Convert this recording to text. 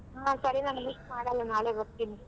ಹಾ ಸರಿ ನಾನ್ miss ಮಾಡಲ್ಲ ನಾಳೆ ಬರ್ತೀನಿ.